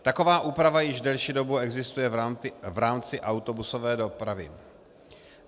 Taková úprava již delší dobu existuje v rámci autobusové dopravy.